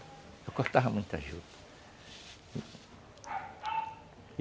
Eu cortava muita juta.